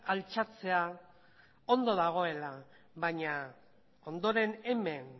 altxatzea ondo dagoela baina ondoren hemen